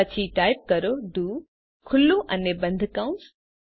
પછી ટાઇપ કરો do open અને ક્લોસ કૌંસ